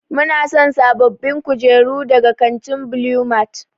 Muna son sabbabin kujeru daga kantin Blue mart.